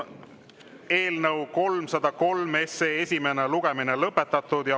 Eelnõu 303 esimene lugemine on lõpetatud.